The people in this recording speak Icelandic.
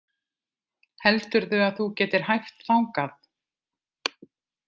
Heldurðu að þú getir hæft þangað?